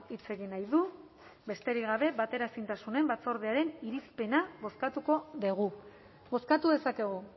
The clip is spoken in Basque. hitz egin nahi du besterik gabe bateraezintasun batzordearen irizpena bozkatuko dugu bozkatu dezakegu